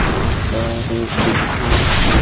यहां पे एक दुकान है।